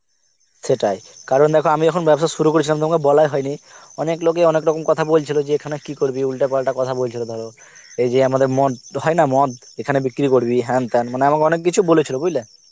সেটাই কারণ দেখো আমি যখন ব্যবসা শুরু করেছিলাম তোমাকে বলাই হয়নি অনেক লোকে অনেক রকম কথা বলছিল যে এখানে কি করবি উল্টোপাল্টা কথা বলছিল ধরো, এই যে আমাদের মদ হয়েনা মদ এখানে বিক্রি করবি হ্যান তেন মানে আমাকে অনেক কিছু বলেছিল বুজলে